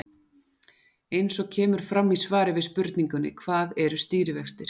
Eins og kemur fram í svari við spurningunni Hvað eru stýrivextir?